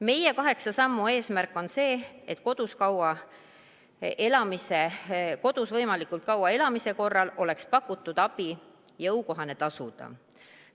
Meie kaheksa sammu eesmärk on see, et võimalikult kaua kodus elamise korral oleks pakutud abi eest tasumine jõukohane.